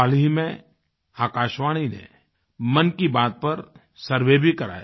हाल ही में आकाशवाणी ने मन की बात पर सर्वे भी कराया